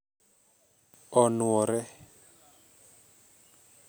Onwore